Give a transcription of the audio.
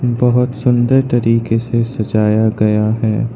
बहुत सुंदर तरीके से सजाया गया है।